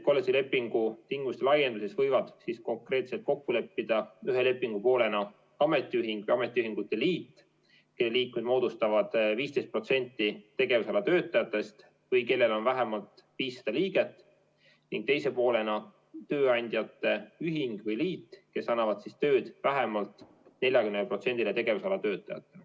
Kollektiivlepingu tingimuste laienemise võivad siis kokku leppida ühe lepingupoolena ametiühing või ametiühingute liit, kelle liikmed moodustavad 15% tegevusala töötajatest või kellel on vähemalt 500 liiget, ning teise poolena tööandjate ühing või liit, kes annavad tööd vähemalt 40%-le tegevusala töötajatest.